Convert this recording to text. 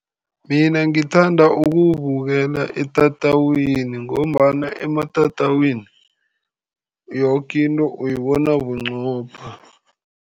Mina ngithanda ukuwubukela etatawini ngombana ematatawini, yoke into uyibona bunqopha.